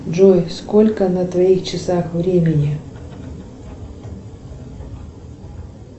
джой сколько на твоих часах времени